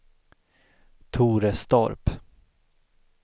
Torestorp